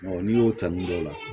n'i y'o ta min dɔ la